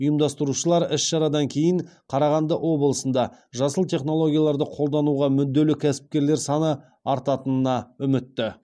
ұйымдастырушылар іс шарадан кейін қарағанды облысында жасыл технологияларды қолдануға мүдделі кәсіпкерлер саны артатынына үмітті